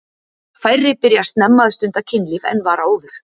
Færri byrja snemma að stunda kynlíf en var áður.